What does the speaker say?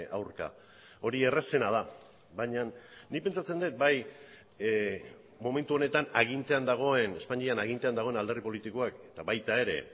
aurka hori errazena da baina nik pentsatzen dut bai momentu honetan agintean dagoen espainian agintean dagoen alderdi politikoak eta baita ere